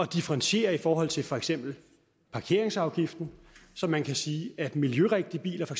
differentiere i forhold til for eksempel parkeringsafgiften så man kan sige at miljørigtige biler for